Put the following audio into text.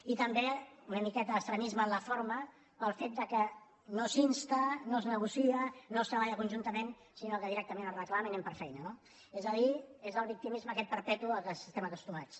i també una miqueta d’extremisme en la forma pel fet que no s’insta no es negocia no es treballa conjunta·ment sinó que directament es reclama i anem per fei·na no és a dir és el victimisme aquest perpetu a què estem acostumats